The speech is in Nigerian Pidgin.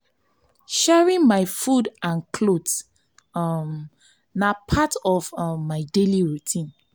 sharing my food and clothes um na part of um my daily routine.